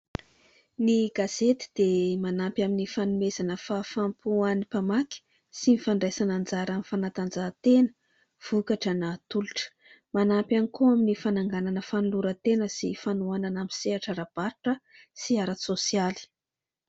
Ny gazety dia manampy amin'ny fanomezana fahafaham-po ho an'ny mpamaky, sy ny fandraisana anjara amin'ny fanatanjahantena (vokatra na tolotra). Manampy ihany koa amin'ny fananganana fanoloran-tena sy fanohanana amin'ny sehatra ara-barotra sy ara-tsosialy.